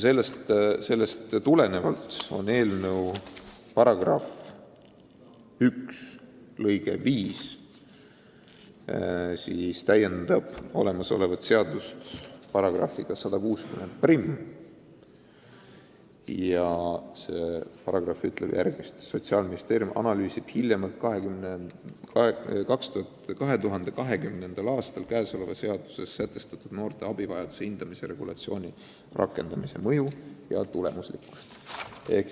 Eelnõus on § 1 lõige 5, mis täiendab olemasolevat seadust §-ga 1601 ja see paragrahv ütleb järgmist: "Sotsiaalministeerium analüüsib hiljemalt 2020. aastal käesoleva seaduse §-s 151 sätestatud noore abivajaduse hindamise regulatsiooni rakendamise mõju ja tulemuslikkust.